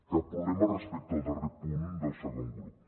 cap problema respecte al darrer punt del segon grup